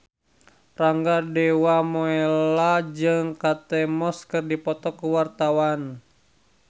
Rangga Dewamoela jeung Kate Moss keur dipoto ku wartawan